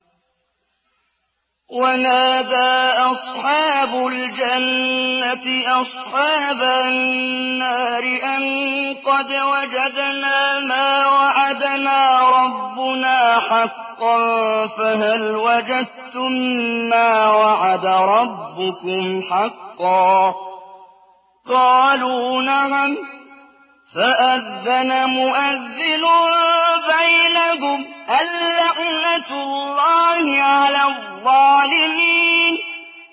وَنَادَىٰ أَصْحَابُ الْجَنَّةِ أَصْحَابَ النَّارِ أَن قَدْ وَجَدْنَا مَا وَعَدَنَا رَبُّنَا حَقًّا فَهَلْ وَجَدتُّم مَّا وَعَدَ رَبُّكُمْ حَقًّا ۖ قَالُوا نَعَمْ ۚ فَأَذَّنَ مُؤَذِّنٌ بَيْنَهُمْ أَن لَّعْنَةُ اللَّهِ عَلَى الظَّالِمِينَ